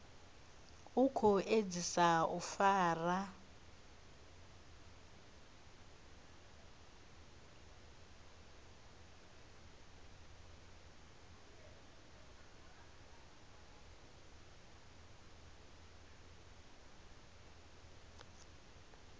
u khou edzisa u fara